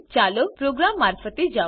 ચાલો પ્રોગ્રામ મારફતે જાઓ